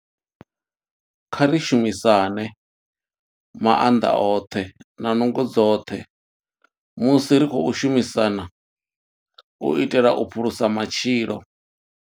Kha ri shumisane maanḓa oṱhe na nungo dzoṱhe musi ri tshi khou shumisana u itela u phulusa matshilo.